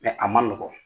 a ma nɔgɔn